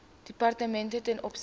departemente ten opsigte